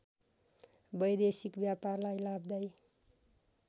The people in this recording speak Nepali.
वैदेशिक व्यापारलाई लाभदायी